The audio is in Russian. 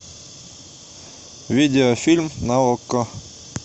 видеофильм на окко